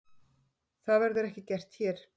Það verður ekki gert hér.